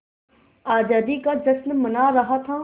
आज़ादी का जश्न मना रहा था